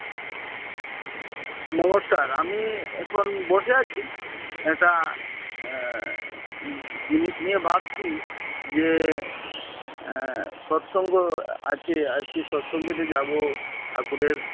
নমস্কার আমি এখন বসে আছি একটা আহ জিনিস নিয়ে ভাবছি যে আহ সৎ সঙ্গ আছে আজকে সৎ সঙ্গতে যাবো তারপরে,